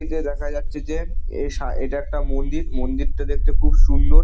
এদিকে দেখা যাচ্ছে যে এর সা এটা একটা মন্দির মন্দিরটা দেখতে খুব সুন্দর।